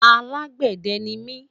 alágbède nimi